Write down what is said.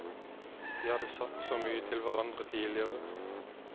De hadde sagt så mye til hverandre tidligere.